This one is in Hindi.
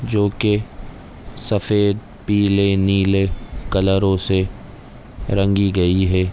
जो के सफ़ेद पीले नीले कलरो से रंगी गई है ।